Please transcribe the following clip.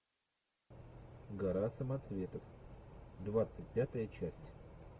гора самоцветов двадцать пятая часть